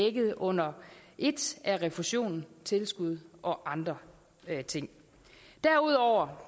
er dækket under ét af refusion tilskud og andre ting derudover